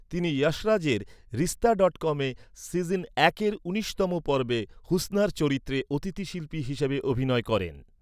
তিনি যশ রাজের রিশতা ডটকমে সিজন একের উনিশতম পর্বে হুসনার চরিত্রে অতিথিশিল্পি হিসেবে অভিনয় করেন।